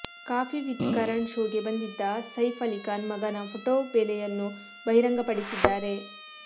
coffee with Karan ಶೋಗೆ ಬಂದಿದ್ದ ಸೈಫ್ ಅಲಿ ಖಾನ್ ಮಗನ ಫೋಟೋ ಬೆಲೆಯನ್ನು ಬಹಿರಂಗಪಡಿಸಿದ್ದಾರೆ